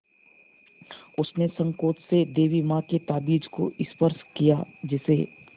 उसने सँकोच से देवी माँ के ताबीज़ को स्पर्श किया जिसे